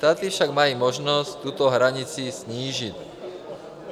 Státy však mají možnost tuto hranici snížit.